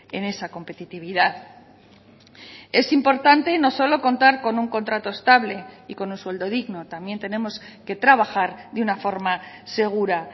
en esa competitividad es importante no solo contar con un contrato estable y con un sueldo digno también tenemos que trabajar de una forma segura